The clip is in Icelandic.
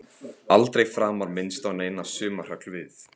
Aldrei framar minnst á neina sumarhöll við